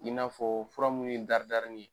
In n'a fɔ fura minnu ye daridarinin ye.